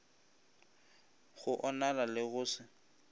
go onala le go se